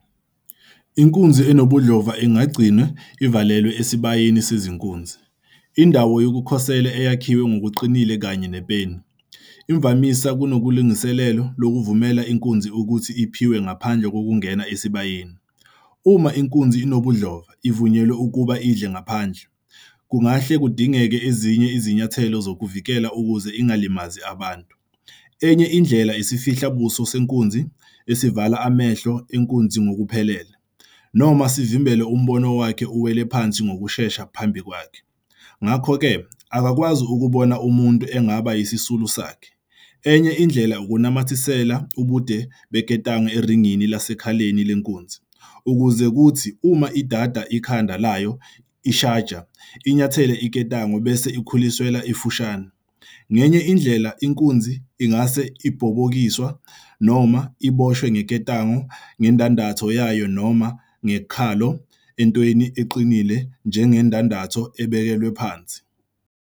Inkunzi enobudlova ingagcinwa ivalelwe esibayeni sezinkunzi, indawo yokukhosela eyakhiwe ngokuqinile kanye nepeni, imvamisa kunelungiselelo lokuvumela inkunzi ukuthi iphiwe ngaphandle kokungena esibayeni. Uma inkunzi enobudlova ivunyelwe ukuba idle ngaphandle, kungahle kudingeke ezinye izinyathelo zokuvikela ukuze ingalimazi abantu. Enye indlela isifihla-buso senkunzi, esivala amehlo enkunzi ngokuphelele, noma sivimbele umbono wakhe uwele phansi ngokushesha phambi kwakhe, ngakho-ke akakwazi ukubona umuntu angaba yisisulu sakhe. Enye indlela ukunamathisela ubude beketanga eringini lasekhaleni lenkunzi, ukuze kuthi uma idada ikhanda layo ishaja, inyathele iketango bese ikhuliswa ifushane. Ngenye indlela, inkunzi ingase ibhobokiswe, noma iboshwe ngamaketanga ngendandatho yayo noma ngekhola entweni eqinile enjengendandatho ebekelwe phansi.